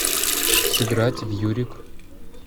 сыграть в юрик